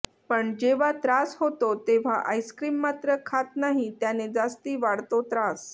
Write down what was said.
पण जेव्हा त्रास होतो तेव्हा आईस्क्रिम मात्रं खात नाही त्याने जास्ती वाढतो त्रास